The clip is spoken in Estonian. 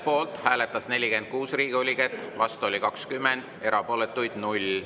Poolt hääletas 46 Riigikogu liiget, vastu oli 20, erapooletuid oli 0.